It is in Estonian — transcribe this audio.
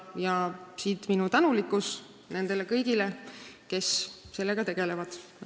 Ja siit minu tänu nendele kõigile, kes sellega tegelevad.